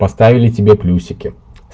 поставили тебе плюсики